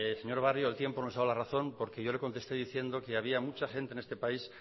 señor barrio el tiempo nos ha dado la razón porque yo le contesté diciendo que había mucha gente en este país